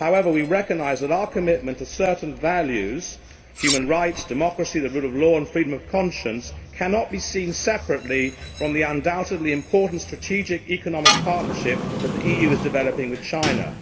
However, we recognise that our commitment to certain values human rights, democracy, the rule of law and freedom of conscience cannot be seen separately from the undoubtedly important strategic economic partnership that the EU is developing with China.